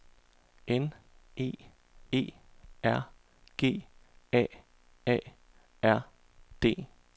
N E E R G A A R D